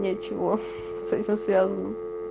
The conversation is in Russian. ничего с этим связано